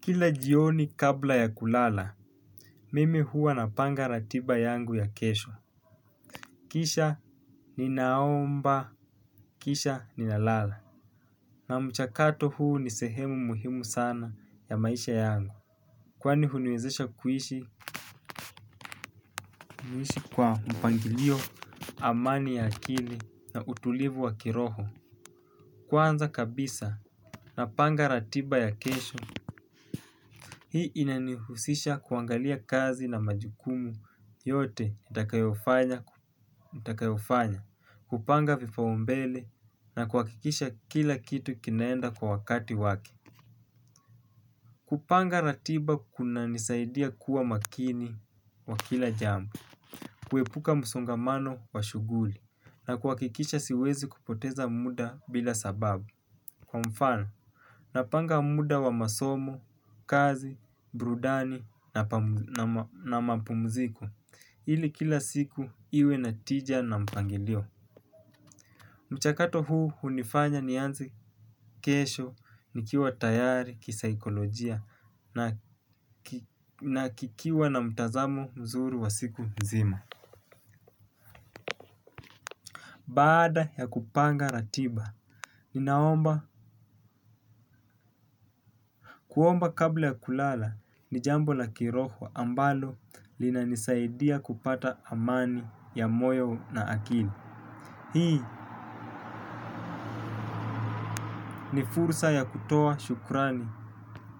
Kila jioni kabla ya kulala, mimi huwa napanga ratiba yangu ya kesho. Kisha ninaomba, kisha ninalala. Na mchakato huu ni sehemu muhimu sana ya maisha yangu. Kwani huniwezesha kuishi niishi kwa mpangilio amani ya akili na utulivu wa kiroho. Kwanza kabisa napanga ratiba ya kesho. Hii inanihusisha kuangalia kazi na majukumu yote nitakayofanya, hupanga vipaumbele na kuhakikisha kila kitu kinaenda kwa wakati wake. Kupanga ratiba kunanisaidia kuwa makini kwa kila jambo, kuepuka msongamano wa shughuli na kuhakikisha siwezi kupoteza muda bila sababu. Kwa mfano, napanga muda wa masomo, kazi, burudani na mapumziko, ili kila siku iwe na tija na mpangilio. Mchakato huu hunifanya nianze kesho, nikiwa tayari, kisaikolojia na kikiwa na mtazamo mzuri wa siku mzima. Baada ya kupanga ratiba, ninaomba kuomba kabla ya kulala ni jambo la kiroho ambalo linanisaidia kupata amani ya moyo na akili. Hii ni fursa ya kutoa shukurani